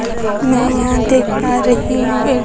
मैं यहां देख पा रही हूं एक--